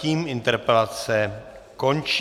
Tím interpelace končí.